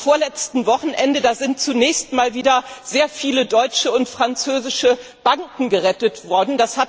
Am vorletzten Wochenende sind zunächst einmal wieder sehr viele deutsche und französische Banken gerettet worden.